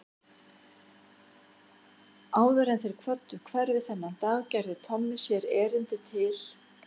Áður en þeir kvöddu hverfið þennan dag gerði Tommi sér erindi til